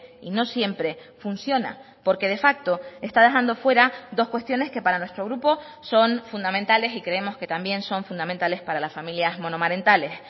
y no siempre funciona porque de facto está dejando fuera dos cuestiones que para nuestro grupo son fundamentales y creemos que también son fundamentales para las familias monomarentales